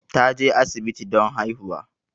Ta je asibiti don haihuwa